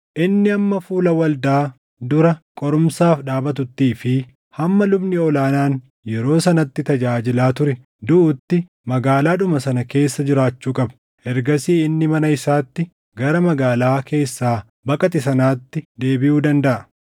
Inni hamma fuula waldaa dura qorumsaaf dhaabatuttii fi hamma lubni ol aanaan yeroo sanatti tajaajilaa ture duʼutti magaalaadhuma sana keessa jiraachuu qaba. Ergasii inni mana isaatti, gara magaalaa keessaa baqate sanaatti deebiʼuu dandaʼa.”